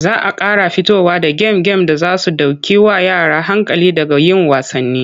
Za a ƙara fito da gem-gem da za su ɗaukewa yara hankali daga yin wasanni.